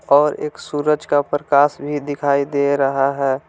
और एक सूरज का प्रकाश भी दिखाई दे रहा है।